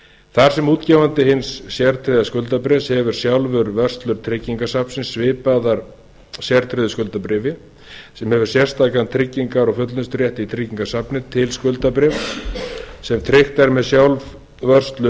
þar sem útgefandi hins sértryggða skuldabréfs hefur sjálfur vörslur tryggingasafnsins svipaðar sértryggðu skuldabréfi sem hefur sérstakan tryggingar og fullnusturétt í tryggingasafni til skuldabréfs sem tryggt er með sjálfsvörsluveði